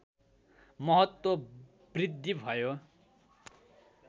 महत्त्व बृद्धि भयो